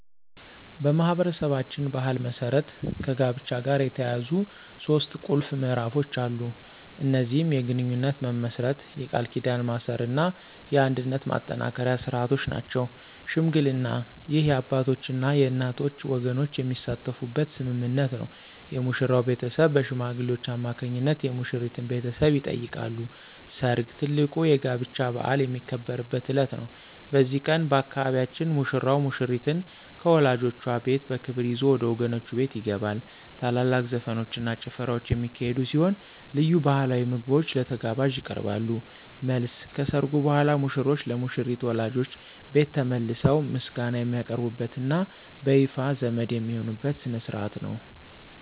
በማኅበረሰባችን ባሕል መሠረት ከጋብቻ ጋር የተያያዙ ሦስት ቁልፍ ምዕራፎች አሉ። እነዚህም የግንኙነት መመስረት፣ የቃል ኪዳን ማሰርና የአንድነት ማጠናከሪያ ሥርዓቶች ናቸው። ሽምግልና: ይህ የአባቶችና የእናቶች ወገኖች የሚሳተፉበት ስምምነት ነው። የሙሽራው ቤተሰብ በሽማግሌዎች አማካኝነት የሙሽሪትን ቤተሰብ ይጠይቃሉ። ሰርግ: ትልቁ የጋብቻ በዓል የሚከበርበት ዕለት ነው። በዚህ ቀን፣ በአካባቢያችን ሙሽራው ሙሽሪትን ከወላጆቿ ቤት በክብር ይዞ ወደ ወገኖቹ ቤት ይገባል። ታላላቅ ዘፈኖችና ጭፈራዎች የሚካሄዱ ሲሆን፣ ልዩ ባሕላዊ ምግቦች ለተጋባዦች ይቀርባሉ። መልስ : ከሠርጉ በኋላ ሙሽሮች ለሙሽሪት ወላጆች ቤት ተመልሰው ምስጋና የሚያቀርቡበትና በይፋ ዘመድ የሚሆኑበት ሥነ ሥርዓት ነው።